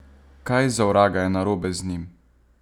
Kaj, za vraga, je narobe z njim?